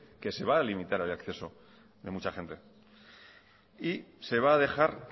que se va a limitar el acceso de mucha gente y se va a dejar